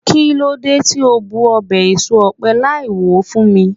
kilode ti o bu obe eso òpe Lai wo fún mi